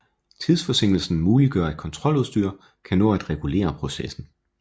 Tidsforsinkelsen muliggør at kontroludstyr kan nå at regulere processen